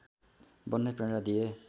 बन्ने प्रेरणा दिए